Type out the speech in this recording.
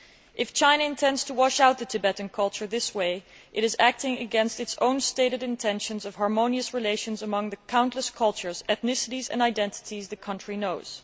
If China intends to wash out the Tibetan culture this way, it is acting against its own stated intentions of harmonious relations among the countless cultures, ethnicities and identities the country knows.